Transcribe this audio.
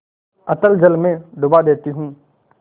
अतल जल में डुबा देती हूँ